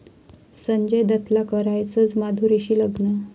संजय दत्तला करायचंय माधुरीशी लग्न!